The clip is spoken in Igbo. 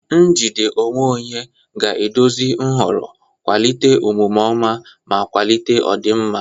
Njide onwe onye ga-eduzi nhọrọ, kwalite omume ọma, ma kwalite ọdịmma.